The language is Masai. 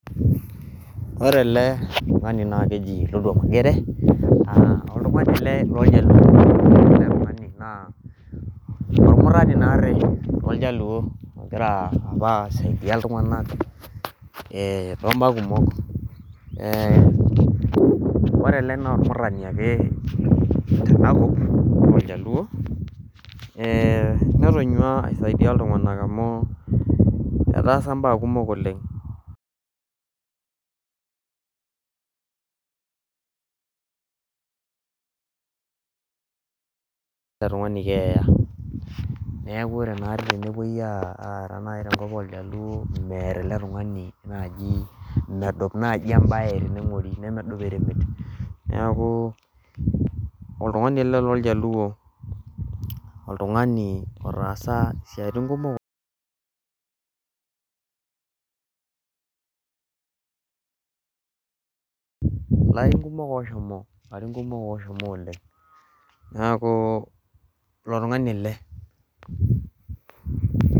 ore ele tung'ani naa keji Luanda Mugere oltung'ani ele loorjaluo ore ele tung'ani naa ormurani naarii tooljaluo ogira apa aisaidia iltung'anak toomba kumok ore ele naa ormurani ake tena kop ooljaluo netoonyua aisaidia iltung'anak amuu etaasa imbaa kumok oleng' neeku ore naa teine nepuoi aara nayii tenkop ooljaluo meear ele tung'ani medup naaji embaye teneng'ori nemeduo eremet neeku oltung'ani ele loorjaluo oltung'ani otaasa isiaitin kumok oleng' ilarin kumok ooshomo oleng' neeku ilo tung'ani ele.